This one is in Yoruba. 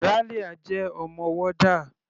Ralia jẹ́ ọmọ warder.